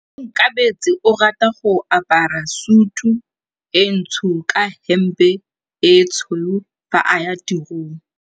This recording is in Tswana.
Onkabetse o rata go apara sutu e ntsho ka hempe e tshweu fa a ya tirong.